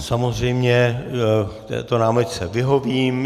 Samozřejmě této námitce vyhovím.